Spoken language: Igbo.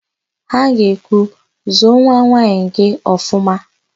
Ha ga-ekwu, "zụọ nwanwaanyị gị ọfụma"!